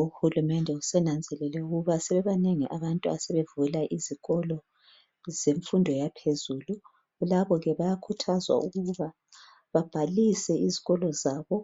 Uhulumende usenanzelele ukuba sebebanengi abantu asebevula izikolo zemfundo yaphezulu. Labo ke bayakhuthazwa ukuba babhalise izikolo zabo